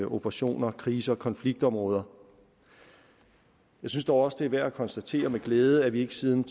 operationer i krise og konfliktområder jeg synes dog også det er værd at konstatere med glæde at vi siden